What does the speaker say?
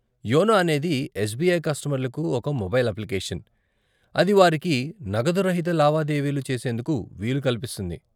YONO అనేది SBI కస్టమర్లకు ఒక మొబైల్ అప్లికేషన్, అది వారికి నగదురహిత లావాదేవీలు చేసేందుకు వీలు కల్పిస్తుంది.